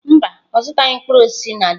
Mba, ọ zụtaghị mkpụrụ osisi na jos.